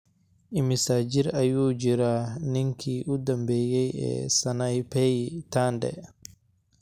Immisa jir ayuu jiraa ninkii u dambeeyay ee Sanaipei Tande?